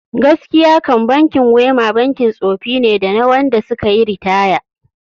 Gaskiya kam bankin WEMA bankin tsofi ne da na wanda suka yi ritaya